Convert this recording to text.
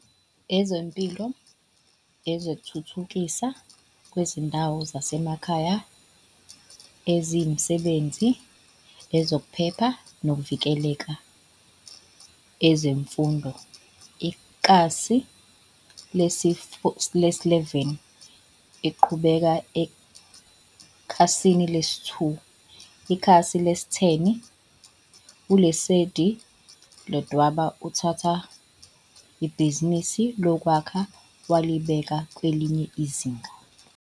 Ezempilo Ezokuthuthukiswa Kwezindawo Zasemakhaya Ezemisebenzi Ezokuphepha Nokuvikeleka EzemfundoIkhasi lesi-11, Iqhubeka ekhasini lesi-2. Ikhasi lesi-10, ULesedi Ledwaba uthathe ibhizinisi lokwakha walibeka kwelinye izinga.